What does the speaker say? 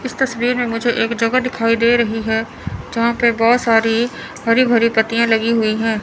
इस तस्वीर में मुझे एक जगह दिखाई दे रही है यहां पे बहुत सारी हरी भरी पत्तियां लगी हुई हैं।